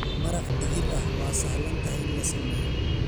Maraq digir ah waa sahlan tahay in la sameeyo.